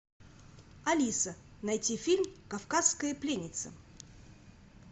алиса найти фильм кавказская пленница